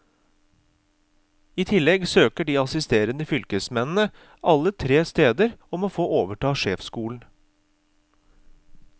I tillegg søker de assisterende fylkesmennene alle tre steder om å få overta sjefsstolen.